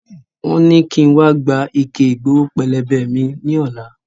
Wọn ní ki n wa gba ike Ìgbowó pélébé mi ni ọ̀la